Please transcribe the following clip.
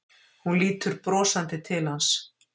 Hún lítur brosandi til hans.